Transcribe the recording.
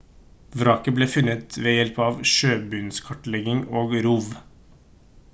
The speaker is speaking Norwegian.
vraket ble funnet med hjelp av sjøbunnskartlegging og rov